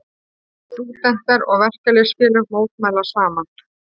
Stúdentar og verkalýðsfélög mótmæla saman